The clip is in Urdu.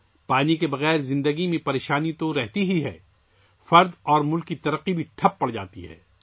پانی کے بغیر زندگی پر ہمیشہ بحران رہتا ہے، فرد اور ملک کی ترقی بھی رک جاتی ہے